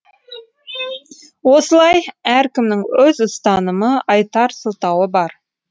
осылай әркімнің өз ұстанымы айтар сылтауы бар